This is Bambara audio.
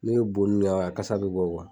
bo nun na a kasa bɛ bɔ